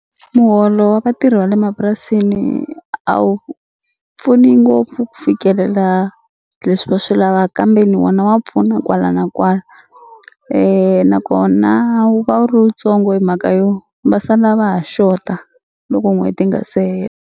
Muholo wa vatirhi va le mapurasini a wu pfuni ngopfu ku fikelela leswi va swi lava kambeni wona wa pfuna kwala na kwala nakona wu va wu ri wutsongo hi mhaka yo va sala va ha xota loko n'hweti yi nga se hela.